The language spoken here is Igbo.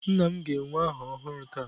Nna m ga-ewere aha ọhụrụ taa.